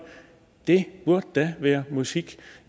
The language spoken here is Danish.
det burde da være musik